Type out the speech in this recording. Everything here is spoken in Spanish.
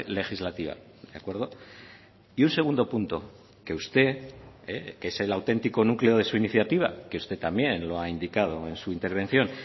legislativa de acuerdo y un segundo punto que usted que es el auténtico núcleo de su iniciativa que usted también lo ha indicado en su intervención